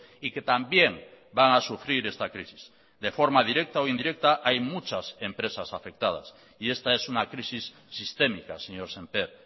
y que también van a sufrir esta crisis de forma directa o indirecta hay muchas empresas afectadas y esta es una crisis sistémica señor sémper